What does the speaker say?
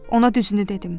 Ona düzünü dedim.